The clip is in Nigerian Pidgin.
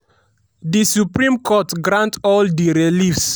di supreme court grant all di reliefs.